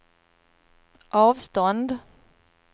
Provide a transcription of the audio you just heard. avstånd